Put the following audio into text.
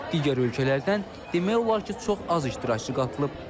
Digər ölkələrdən demək olar ki, çox az iştirakçı qatılıb.